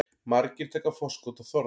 Margir taka forskot á þorrann